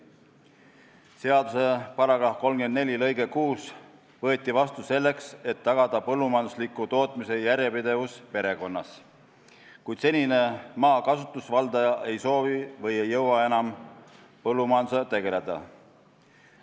Seaduse § 34 lõige 6 võeti vastu selleks, et tagada põllumajandusliku tootmise järjepidevus perekonnas, kui senine maa kasutusvaldaja ei soovi või ei jõua enam põllumajandusega tegeleda.